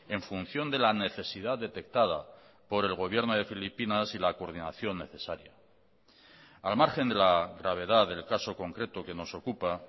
en función de la necesidad detectada por el gobierno de filipinas y la coordinación necesaria al margen de la gravedad del caso concreto que nos ocupa